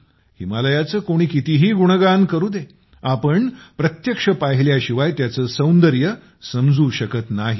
हिमालयाचे कोणी कितीही गुणगान करू दे आपण प्रत्यक्ष पाहिल्याशिवाय त्याचे सौंदर्य समजू शकत नाही